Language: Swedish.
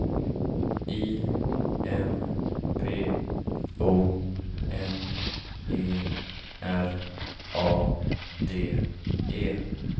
I M P O N E R A D E